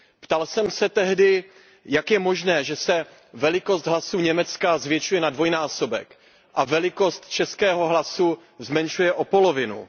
Ptal jsem se tehdy, jak je možné, že se velikost hlasu Německa zvětšuje na dvojnásobek a velikost českého hlasu zmenšuje o polovinu?